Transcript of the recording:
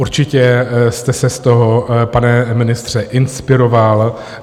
Určitě jste se z toho, pane ministře, inspiroval.